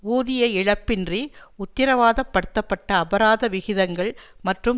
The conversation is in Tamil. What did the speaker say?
ஊதிய இழப்பின்றி உத்திரவாதப்படுத்தப்பட்ட அபராத விகிதங்கள் மற்றும்